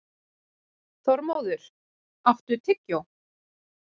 Þormóður, áttu tyggjó?